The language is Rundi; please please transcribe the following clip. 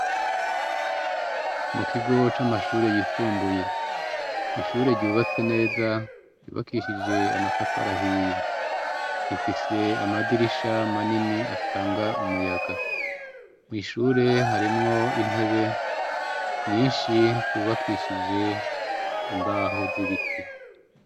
Mu kigo camashure yisumbuye , ishure ryubatswe neza , ry'ubakishijwe amatafari ahiye rifise amadirisha manini atanga umuyaga , mwishure harimwo intebe nyinshi zubakishije imbaho zibiti .